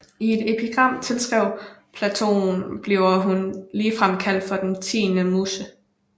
I et epigram tilskrevet Platon bliver hun ligefrem kaldt for den tiende muse